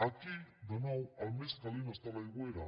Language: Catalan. aquí de nou el més calent està a l’aigüera